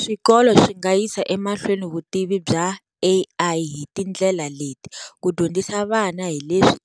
Swikolo swi nga yisa emahlweni vutivi bya A_I hi tindlela leti, ku dyondzisa vana hi leswi